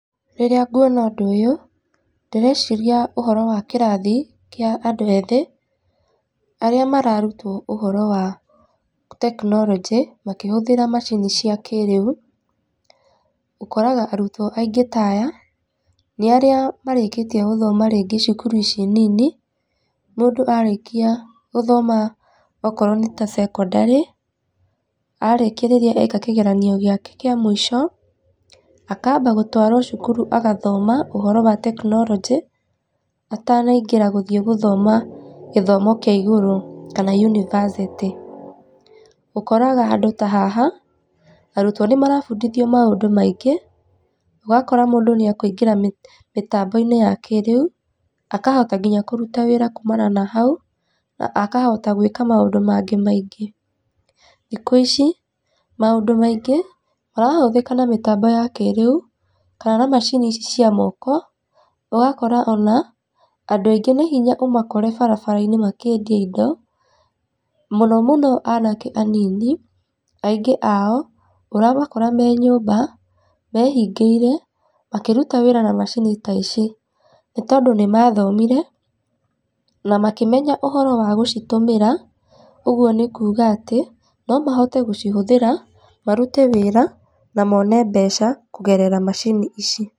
Rĩrĩa ngũona ũndũ ũyũ, ndĩreciria ũhoro wa kĩrathi kĩa andũ, ethĩ arĩa mararutwo ũhoro wa tekinoronjĩ makĩhũthĩra macini cia kĩrĩu. Ũkoraga arutwo aingĩ ta aya nĩ arĩa marĩkĩtie gũthoma rĩngĩ cukuru ici nini, mũndũ arĩkia gũthoma okorwo nĩ ta cekondarĩ, arĩkĩa rĩrĩa areka kĩgeranio gĩake kĩa mũico akamba gũtwarwo cukuru agathoma ũhoro wa tekinoronjĩ atanaingĩra gũthĩe gũthoma gĩthomo kĩa igũrũ kana unibacĩtĩ. Ũkoraga handũ ta haha, arutwo nĩmarabundithio maũndũ maingĩ ũgakora mũndũ nĩ akũingĩra mĩtambo-inĩ ya kĩrĩu akahota nginya kũruta wĩra kumana na hau na akahota gũĩka maũndũ mangĩ maingĩ. Thikũ ici, maũndũ maingĩ marahũthĩka na mĩtambo ya kĩriu tarora macini ici cia moko ũgakora ona, andũ aingĩ nĩ hinya ũmakore barabara-inĩ makĩendia indo mũno mũno anake anini aingĩ ao ũramakora me nyũmba mehingĩĩre makĩruta wĩra na macini ta ici nĩ, tondũ nĩ mathomĩre na makĩmenya ũhoro wa gũcitũmĩra ũguo nĩ kũga atĩ no mahote gũcihũthĩra marute wĩra na mone mbeca kũgerera macini ici.